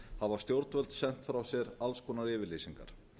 hæstaréttardómsins hafa stjórnvöld sent frá sér alls konar yfirlýsingar